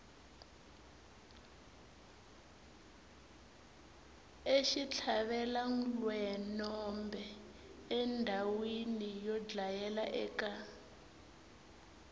exitlhavelwenombe endhawina yo dlayela eka